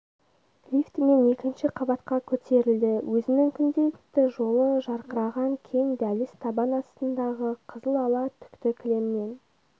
лифтмен екінші қабатқа көтерілді өзінің күнделікті жолы жарқыраған кең дәліз табан астындағы қызыл ала түкті кілемнен